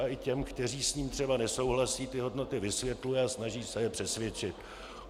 A i těm, kteří s ním třeba nesouhlasí, ty hodnoty vysvětluje a snaží se je přesvědčit.